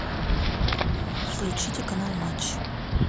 включите канал матч